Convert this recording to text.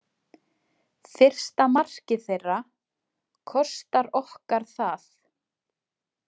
Fyrsta markið þeirra kostar okkar það.